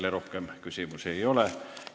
Teile rohkem küsimusi ei ole.